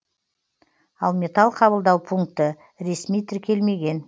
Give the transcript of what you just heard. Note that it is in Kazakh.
ал металл қабылдау пункті ресми тіркелмеген